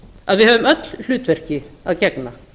að við höfum öll hlutverki að gegna